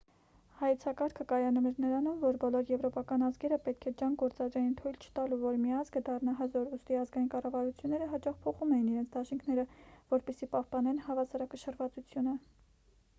հայեցակարգը կայանում էր նրանում որ բոլոր եվրոպական ազգերը պետք է ջանք գործադրեին թույլ չտալու որ մի ազգը դառնա հզոր ուստի ազգային կառավարությունները հաճախ փոխում էին իրենց դաշինքները որպեսզի պահպանեն հավասարակշռվածությունը